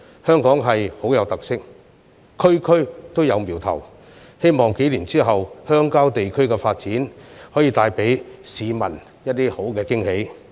香港是一個很有特色的地方，每一區均有瞄頭，希望數年後的鄉郊地區發展能為市民帶來驚喜。